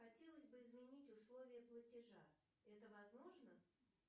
хотелось бы изменить условия платежа это возможно